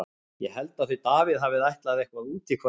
Ég held að þau Davíð hafi ætlað eitthvað út í kvöld.